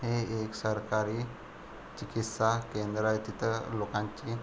हे एक सरकारी चिकित्सा केंद्र आहे तिथं लोकांची --